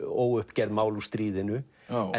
óuppgerð mál úr stríðinu